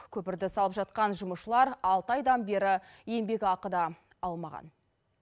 көпірді салып жатқан жұмысшылар алты айдан бері еңбекақы да алмаған